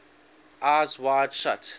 eyes wide shut